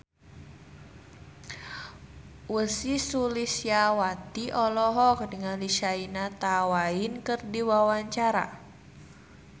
Ussy Sulistyawati olohok ningali Shania Twain keur diwawancara